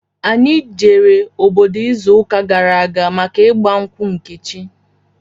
Anyị jere obodo izu ụka gara aga maka ịgba nkwụ Nkechi